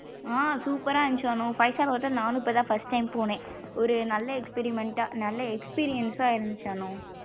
ஆஹ் super ரா இருந்துச்சு அனு five star hotel நானும் இப்போ தான் first time போனேன் ஒரு நல்லா experiment டா நல்லா experience சா இருந்துச்சு அனு.